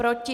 Proti?